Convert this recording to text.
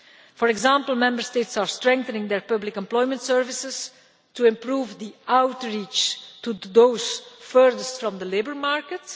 For example, Member States are strengthening their public employment services to improve the outreach to those furthest from the labour market.